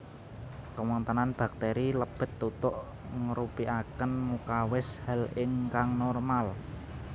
Kewontenan bakteri lebet tutuk ngrupikaken mukawis hal ingkang normal